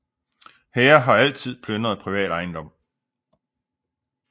Hære har altid plyndret privat ejendom